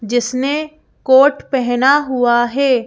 जिसने कोट पहना हुआ है।